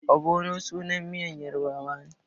Ogbono is the name of a Yoruba soup.